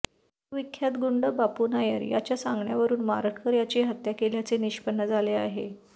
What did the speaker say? कुविख्यात गुंड बापू नायर याच्या सांगण्यावरून मारटकर यांची हत्या केल्याचे निष्पन्न झाले आहे